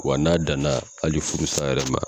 Wa n'a dana ali furu sa yɛrɛ ma